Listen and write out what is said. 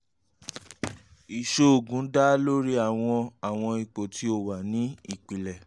iṣoogun da lori awọn awọn ipo ti o wa ni ipilẹ